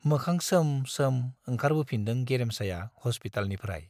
मोखां सोम सोम ओंखारबोफिनदों गेरेमसाया हस्पितालनिफ्राय।